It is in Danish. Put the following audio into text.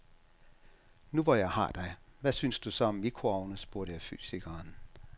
Nu hvor jeg har dig, hvad synes du så om mikroovne, spurgte jeg fysikeren.